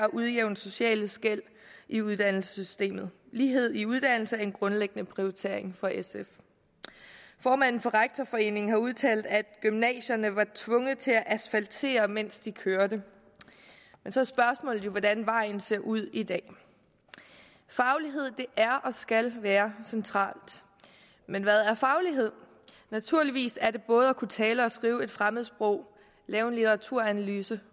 at udjævne sociale skel i uddannelsessystemet lighed i uddannelse er en grundlæggende prioritering for sf formanden for rektorforeningen har udtalt at gymnasierne var tvunget til at asfaltere mens de kørte men så er spørgsmålet jo hvordan vejen ser ud i dag faglighed er og skal være centralt men hvad er faglighed naturligvis er det både at kunne tale og skrive et fremmedsprog lave en litteraturanalyse